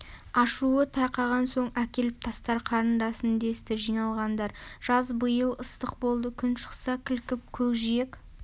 ашуы тарқаған соң әкеліп тастар қарындасын десті жиналғандар жаз биыл ыстық болды күн шықса кілкіп көкжиек